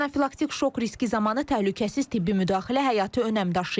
Anafilaktik şok riski zamanı təhlükəsiz tibbi müdaxilə həyati önəm daşıyır.